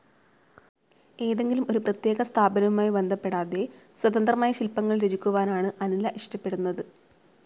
ഏതെങ്കിലും ഒരു പ്രത്യേക സ്ഥാപനവുമായി ബന്ധപ്പെടാതെ, സ്വതന്ത്രമായി ശില്പങ്ങൾ രചിക്കുവാനാണ് അനില ഇഷ്ടപ്പെടുന്നത്.